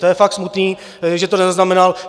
To je fakt smutné, že to nezaznamenal.